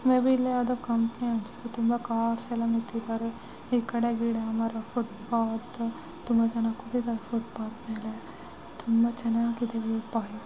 May be ಇಲ್ಲೊಂದು ಯಾವುದೋ company ಅನ್ಸುತ್ತೆ ತುಂಬಾ ಕಾರ್ಸ್ ಎಲ್ಲ ನಿಂತಿದವರೆ ಈ ಕಡೆ ಗಿಡ ಮರ ಫುಟ್ಪಾತ್ ತುಂಬಾ ಜನ ಕೂತಿದ್ದಾರೆ ಫುಟ್ಬಾತ್ ಮೇಲೆ. ತುಂಬಾ ಚೆನ್ನಾಗಿದೆ ವ್ಯೂ ಪಾಯಿಂಟ್ .